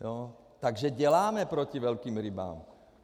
Takže děláme proti velkým rybám.